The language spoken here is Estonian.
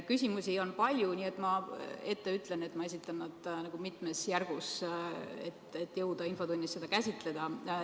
Küsimusi on palju, nii et ma ütlen kohe ette, et ma esitan nad mitmes järgus, et jõuda infotunnis kõike käsitleda.